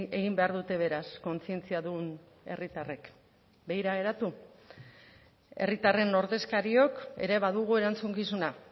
egin behar dute beraz kontzientziadun herritarrek begira geratu herritarren ordezkariok ere badugu erantzukizuna